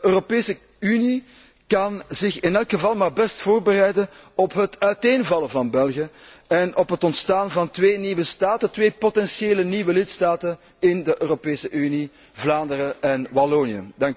De Europese Unie kan zich in elk geval maar best voorbereiden op het uiteenvallen van België en op het ontstaan van twee nieuwe staten, twee potentiële nieuwe lidstaten in de Europese Unie, Vlaanderen en Wallonië.